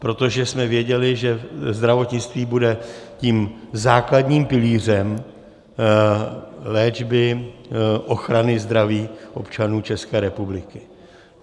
Protože jsme věděli, že zdravotnictví bude tím základním pilířem léčby, ochrany zdraví občanů České republiky.